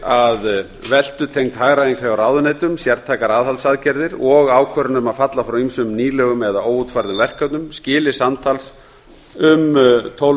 að veltutengd hagræðing hjá ráðuneytum sértækar aðhaldsaðgerðir og ákvörðun um að falla frá ýmsum nýlegum eða óútfærðum verkefnum skili samtals um tólf